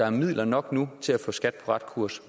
er midler nok til at få skat på ret kurs